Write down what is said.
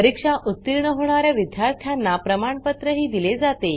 परीक्षा उतीर्ण होणा या विद्यार्थ्यांना प्रमाणपत्रही दिले जाते